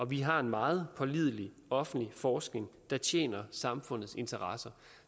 vi har en meget pålidelig offentlig forskning der tjener samfundets interesser